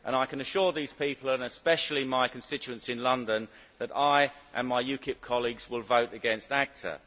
I can assure these people, and especially my constituents in London, that I and my UKIP colleagues will vote against ACTA.